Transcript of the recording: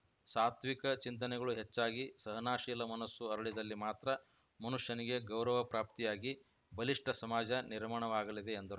ಸಾತ್ವಿಕ ಚಿಂತನೆಗಳು ಹೆಚ್ಚಾಗಿ ಸಹನಶೀಲಾ ಮನಸ್ಸು ಅರಳಿದಲ್ಲಿ ಮಾತ್ರ ಮನುಷ್ಯನಿಗೆ ಗೌರವ ಪ್ರಾಪ್ತಿಯಾಗಿ ಬಲಿಷ್ಠ ಸಮಾಜ ನಿರ್ಮಾಣವಾಗಲಿದೆ ಎಂದರು